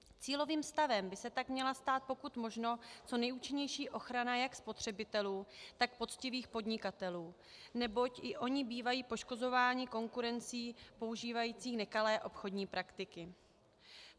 Cílovým stavem by se tak měla stát pokud možno co nejúčinnější ochrana jak spotřebitelů, tak poctivých podnikatelů, neboť i oni bývají poškozováni konkurencí používající nekalé obchodní praktiky.